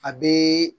A bɛ